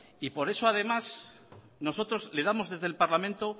por eso además nosotros le damos desde el parlamento